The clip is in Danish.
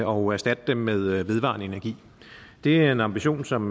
og erstatte dem med vedvarende energi det er en ambition som